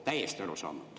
Täiesti arusaamatu.